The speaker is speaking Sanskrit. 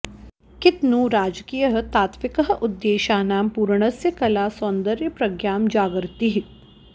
कित्नु राजकीयः तात्त्विकः उद्देशानां पूरणस्य कला सौन्दर्यप्रज्ञां जागर्ति